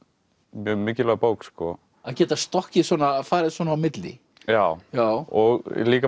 mjög mikilvæg bók að geta stokkið svona farið svona á milli já já og líka